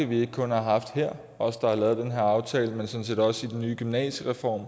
vi ikke kun har haft her os der har lavet den her aftale men sådan set også i den nye gymnasiereform